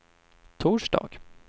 torsdag